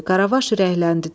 Qaravaş ürəkləndi, dedi: